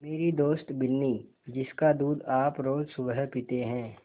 मेरी दोस्त बिन्नी जिसका दूध आप रोज़ सुबह पीते हैं